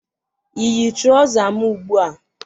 ịyi traụza m ugbu a?